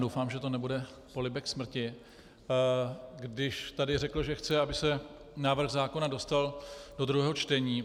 Doufám, že to nebude polibek smrti, když tady řekl, že chce, aby se návrh zákona dostal do druhého čtení.